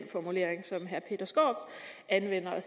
formulering som herre peter skaarup anvender og